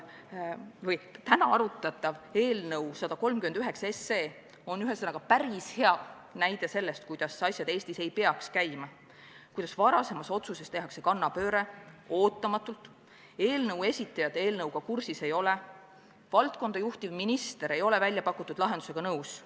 Täna arutatav eelnõu 139 on päris hea näide sellest, kuidas asjad Eestis ei tohiks käia: varasemas otsuses tehakse ootamatult kannapööre, eelnõu esitajad eelnõuga kursis ei ole, valdkonda juhtiv minister ei ole väljapakutud lahendusega nõus.